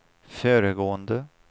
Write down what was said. föregående